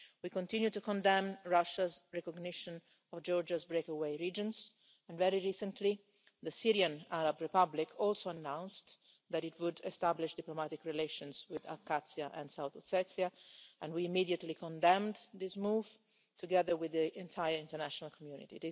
We continue to condemn Russia's recognition of Georgia's breakaway regions, and very recently the Syrian Arab Republic also announced that it would establish diplomatic relations with Abkhazia and South Ossetia, and we immediately condemned this move, together with the entire international community.